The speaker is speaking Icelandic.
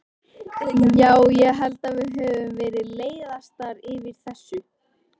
Já, ég held að við höfum verið leiðastar yfir þessu.